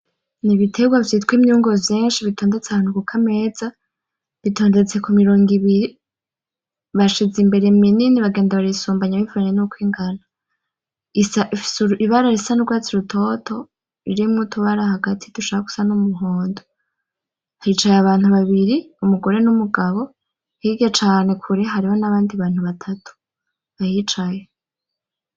N'ibiterwa vyitwa imyungu vyinshi bitondetse ahantu kukameza, bitondetse kumirongo ibiri, bashize imbere minini bagenda barayisubana bivanye nuko ingana, ifise ibara isa n'urwatsi rutoto ririmwo utubara hagati dushaka gusa n'umuhondo, hicaye abantu babiri umugore n'umugabo, hirya cane kure hariho n'abandi bantu batatu, bahicaye.